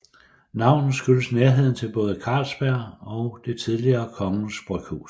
Navnet skyldes nærheden til både Carlsberg og det tidligere Kongens Bryghus